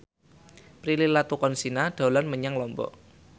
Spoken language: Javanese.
Prilly Latuconsina dolan menyang Lombok